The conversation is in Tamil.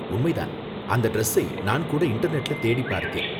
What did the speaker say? உண்மை தான், அந்த டிரஸ்ஸை நான் கூட இன்டர்நெட்ல தேடிப் பார்த்தேன்.